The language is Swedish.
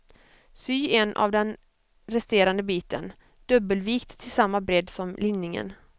Sy en av den resterande biten, dubbelvikt till samma bredd som linningen.